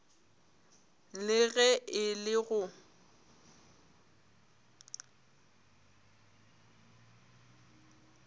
le ge e le go